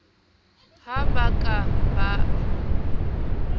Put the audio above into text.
ha ba ka ba a